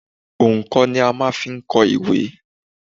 Òǹkọ̀ ni a máa ń fi kọ ìwé.